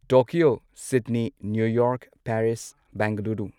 Tokyo Sydney New York Bengaluru